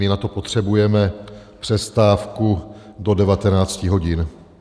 My na to potřebujeme přestávku do 19 hodin.